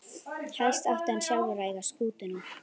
Helst átti hann sjálfur að eiga skútuna.